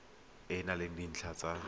e na le dintlha tsa